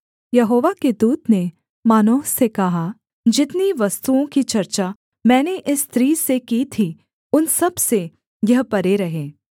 यहोवा के दूत ने मानोह से कहा जितनी वस्तुओं की चर्चा मैंने इस स्त्री से की थी उन सबसे यह परे रहे